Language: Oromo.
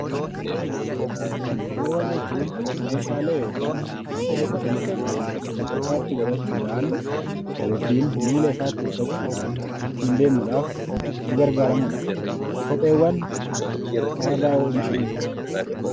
Kopheewwan jechuun meeshaalee yookiin wantoota dhalli namaa luka isaatti godhachuudhaan yookiin miila isaatti uffachuudhaan ittiin deemuudhaaf itti gargaaramudha. Kopheewwan maalirraa oomishamu?